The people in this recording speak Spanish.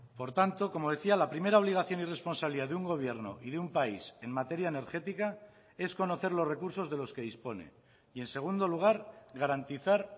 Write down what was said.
por tanto como decía la primera obligación y responsabilidad de un gobierno y de un país en materia energética es conocer los recursos de los que dispone y en segundo lugar garantizar